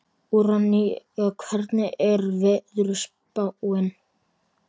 Úranía, hvernig er veðurspáin?